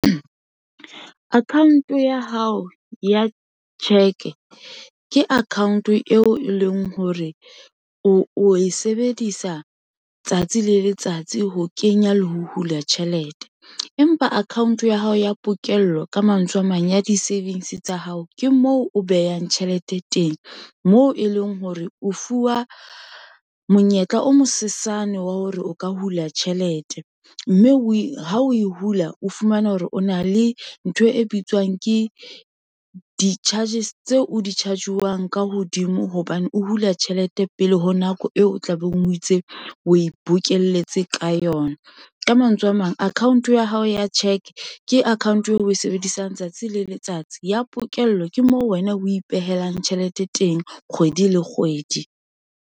Account-o ya hao ya cheque, ke account-o eo e leng hore o e sebedisa tsatsi le letsatsi, ho kenya le ho hula tjhelete, empa account-o ya hao ya pokello, ka mantswe a mang ya di-savings tsa hao, ke moo o behang tjhelete teng, moo e leng hore o fuwa monyetla o mosesane wa hore o ka hula tjhelete, mme o e ha o e hula, o fumana hore o na le ntho e bitswang ke di-charges, tseo o di-charge-wang ka hodimo, hobane o hula tjhelete pele ho nako eo o tlabeng o itse o e bokelletse ka yona. Ka mantswe a mang, account-o ya hao ya cheque, ke account-o eo o e sebedisang tsatsi le letsatsi, ya pokello ke moo wena o ipehelang tjhelete teng kgwedi le kgwedi.